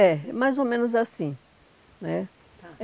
assim. É, é mais ou menos assim né. Tá